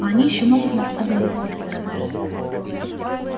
а они ещё могут нас одолеть моя дорогая